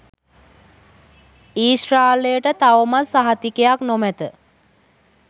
ඊශ්‍රායලයට තවමත් සහතිකයක් නොමැත